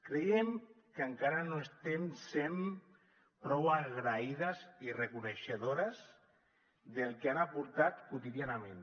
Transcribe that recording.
creiem que encara no estem sent prou agraïdes i reconeixedores del que han aportat quotidianament